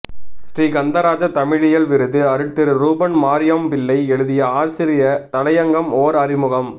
ஸ்ரீகந்தராஜா தமிழியல் விருது அருட்திரு ரூபன் மரியாம்பிள்ளை எழுதிய ஆசிரிய தலையங்கம் ஓர் அறிமுகம்